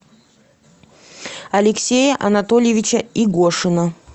алексея анатольевича игошина